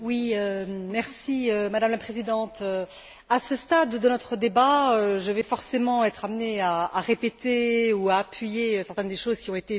Madame la Présidente, à ce stade de notre débat, je vais forcément être amenée à répéter ou à appuyer certaines des choses qui ont été dites précédemment.